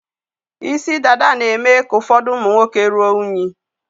Isi dada na-eme ka ụfọdụ ụmụ nwoke rụọ unyi.